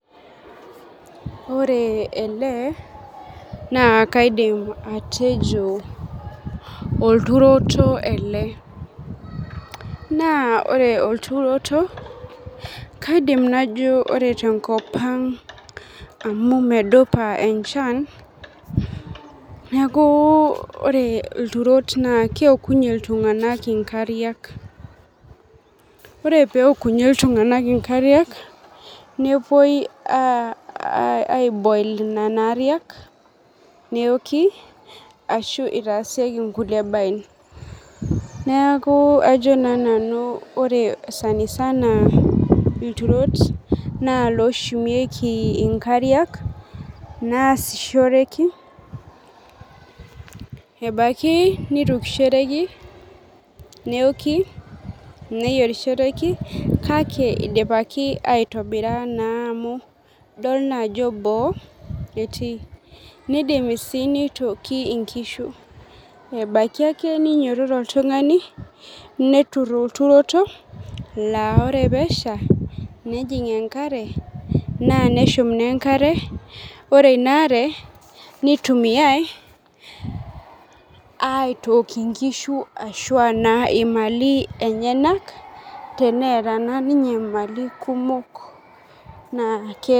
Ore ele na kaidim atejo olturoto ele na ore olturoto kaidim najo ore tenkop aang amu medupa enchan neaku ore lturot na keokunye ltunganak nkariak ore peokunye ltunganak nkariak nepuoi aiboil nonaariak neoki ashu itaasieki nkulie baen, neaku ajo na nanu ore sanisana ore lturot na loshumieki nkariak naasishoreki ebaki neitukishoreki neoki neyierishoreki kake idipaki aitobira amu idol na ajo boo etii idim dii nitoki nkishe ebaki ake ninyototo oltungani netur olturoto na ore peesha nejing enkare neshum na enkare ore inaare nitumiai aitook nkishu ashu aa imaali enyenak teneata ninye mali kumok na.